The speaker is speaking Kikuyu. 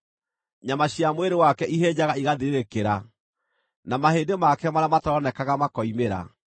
Nyama cia mwĩrĩ wake ihĩnjaga igathirĩrĩkĩra, na mahĩndĩ make marĩa mataroonekaga makoimĩra.